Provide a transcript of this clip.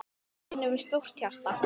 Vinur með stórt hjarta.